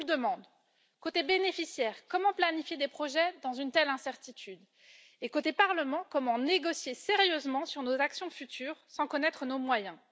Je vous le demande côté bénéficiaires, comment planifier des projets dans une telle incertitude, et côté Parlement, comment négocier sérieusement sur nos actions futures sans connaître nos moyens?